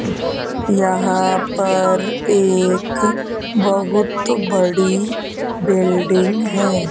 यहां पर एक बहुत बड़ी बिल्डिंग हैं।